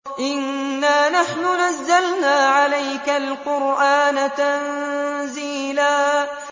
إِنَّا نَحْنُ نَزَّلْنَا عَلَيْكَ الْقُرْآنَ تَنزِيلًا